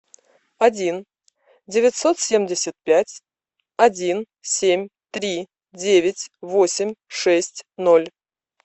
один девятьсот семьдесят пять один семь три девять восемь шесть ноль